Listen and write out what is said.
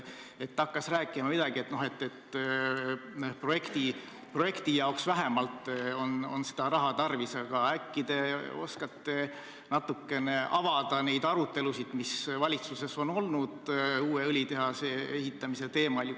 Ta hakkas rääkima, et projekti jaoks on vähemalt seda raha tarvis, aga äkki te oskate avada neid arutelusid, mis valitsuses on uue õlitehase teemal olnud.